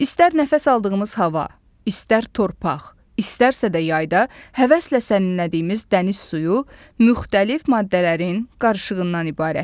İstər nəfəs aldığımız hava, istər torpaq, istərsə də yayda həvəslə sərinlədiyimiz dəniz suyu müxtəlif maddələrin qarışığından ibarətdir.